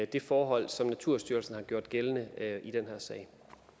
det forhold som naturstyrelsen har gjort gældende i den her sag